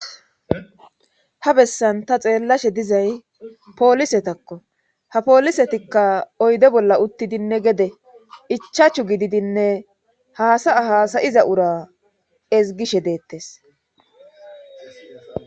Ha bessan ta xeellashe dizay poolisetakko ha poolisetikka oyde bolla uttidinne gede ichaachu gididinne haasaya haasayiza ura ezgishe deettes